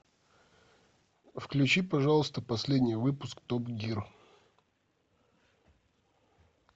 включи пожалуйста последний выпуск топ гир